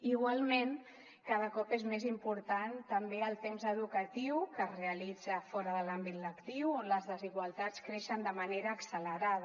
igualment cada cop és més important també el temps educatiu que es realitza fora de l’àmbit lectiu on les desigualtats creixen de manera accelerada